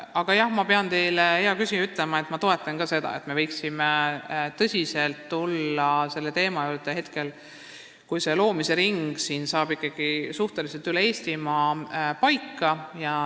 Aga jah, ma pean teile, hea küsija, ütlema, et ma toetan seda, et me võiksime tulla tõsiselt selle teema juurde, kui see gümnaasiumide loomise ring saab üle Eestimaa suhteliselt paika.